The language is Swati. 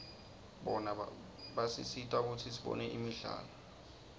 bona basisita kutsi sibone imidlalo